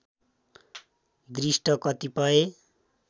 दृष्ट कतिपय